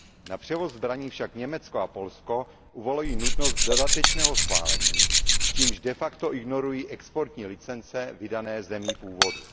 Na převoz zbraní však Německo a Polsko uvalují nutnost dodatečného schválení, čímž de facto ignorují exportní licence vydané zemí původu.